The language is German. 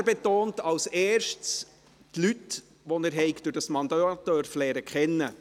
Er betont als Erstes, die Leute, die er durch dieses Mandat habe kennenlernen dürfen.